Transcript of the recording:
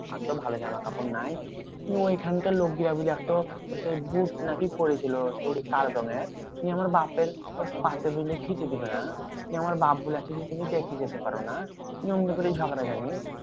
আর তো ভালো জামাকাপড় নাই। নিয়ে ঐখানকার লোকগুলা এত সেই বুট না কি পড়েছিল, সেই কালো রঙের? নিয়ে আমার বাপের পাতে বুঝলি খেতে দেবে না। নিয়ে আমার বাপ্ বলেছে যে, তুমি দেখে যেতে পারো না। নিয়ে অমনি করেই ঝগড়া লাগে